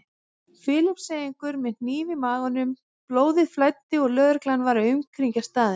Filippseyingur með hníf í maganum, blóðið flæddi og lögreglan var að umkringja staðinn.